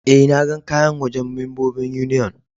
Eh, na gan kayan a wajen membobin Union.